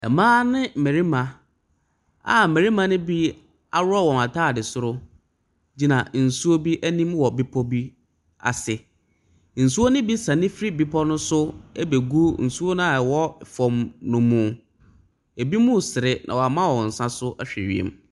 Mmea ne mmarima a mmarima no bi ahroɔ wɔn ataadeɛ soro gyina nsuo bi anim wɔ bepo bi ase nsuo no bi nso sani firi bepo no so ɛbɛ gu nsuo noa ɛwɔ fom no mu ebi mɔ sere na wɔn ama wɔn nsa ahwɛ wiem.